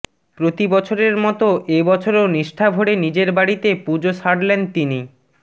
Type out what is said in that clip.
প্রতি বছরের মতো এবছরও নিষ্ঠা ভরে নিজের বাড়িতে পুজো সারলেন তিনি